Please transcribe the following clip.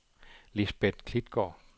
Lisbeth Klitgaard